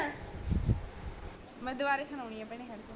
ਮੈਂ ਦੁਬਾਰੇ ਸੁਣਾਂਦੀ ਪਹਿਲਾਂ ਹੱਟ ਜਾ